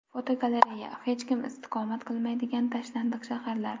Fotogalereya: Hech kim istiqomat qilmaydigan tashlandiq shaharlar.